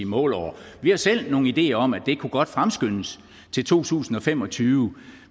målår vi har selv nogle ideer om at det godt kunne fremskyndes til to tusind og fem og tyve